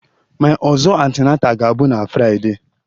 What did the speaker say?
My ọzọ antenatal ga-abụ na Friday